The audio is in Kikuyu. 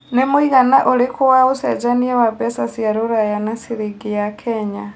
nĩ mũigana ũrikũ wa ũcenjanĩa wa mbeca cia rũraya na ciringi ya Kenya